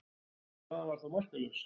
Staðan var þá markalaus.